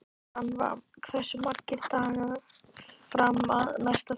Rannva, hversu margir dagar fram að næsta fríi?